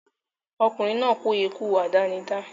Ọkùnrin náà kú ikú àdánidá